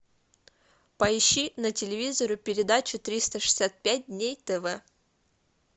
поищи на телевизоре передачу триста шестьдесят пять дней тв